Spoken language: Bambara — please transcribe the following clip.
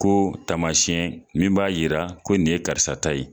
Ko taamasɛn min b'a yira ko nin ye karisa ta ye